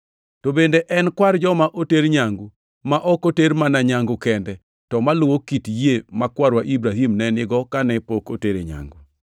To bende en kwar joma oter nyangu, ma ok oter mana nyangu kende, to maluwo kit yie ma kwarwa Ibrahim ne nigo kane pok otere nyangu.